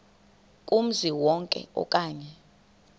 kumzi wonke okanye